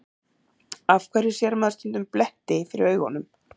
Af hverju sér maður stundum bletti fyrir augunum?